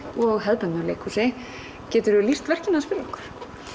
og hefðbundnu leikhúsi geturðu lýst verkinu aðeins fyrir okkur